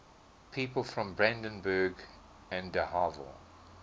people from brandenburg an der havel